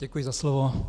Děkuji za slovo.